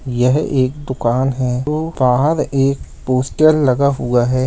यह एक दुकान है तो बाहर एक पोस्टर लगा हुआ है।